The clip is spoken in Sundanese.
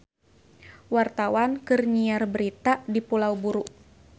Wartawan keur nyiar berita di Pulau Buru